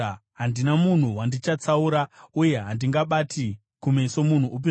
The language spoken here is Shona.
Handina munhu wandichatsaura, uye handingabati kumeso munhu upi zvake;